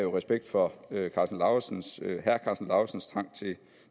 respekt for herre karsten lauritzens lauritzens trang til